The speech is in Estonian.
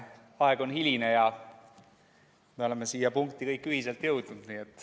Aeg on hiline ja me oleme siia punkti kõik ühiselt jõudnud.